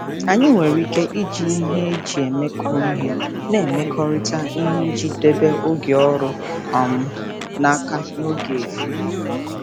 Anyị nwere ike iji nhe eji emekọ ihe na-emekọrịta ihe iji debe oge ọrụ um n'aka na oge efu.